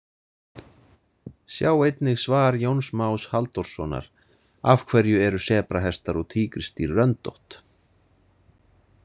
Sjá einnig svar Jóns Más Halldórssonar Af hverju eru sebrahestar og tígrisdýr röndótt?